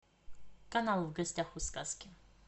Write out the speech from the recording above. канал в гостях у сказки